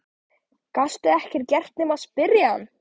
Gastu ekkert gert nema spyrja hann?